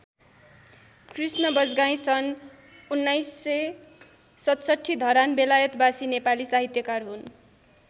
कृष्ण बजगाईं सन् १९६७ धरान बेलायतवासी नेपाली साहित्यकार हुन्।